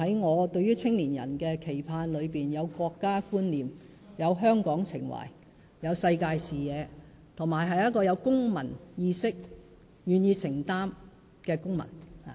我對於青年人的期盼，是希望他們成為有國家觀念、有香港情懷、有世界視野，以及有公民意識及願意承擔的公民。